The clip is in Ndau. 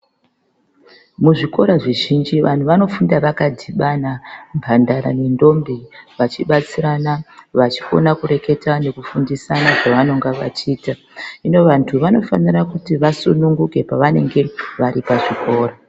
Muzvikora zvizhinji vantu vanofunda vakadibana mhandara ne ndombi vachibatsirana vachikona kureketa nekufundisana zvavanonga vachiita hino vantu vanofanirwa kuti vasununguke pavanenge vari pachikora.